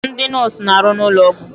Ndị nọọsụ na-arụ n'ụlọ ọgwụ.